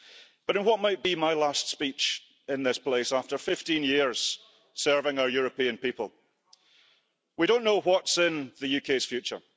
But, in what might be my last speech in this place after 15 years serving our European people, we don't know what's in the UK's future.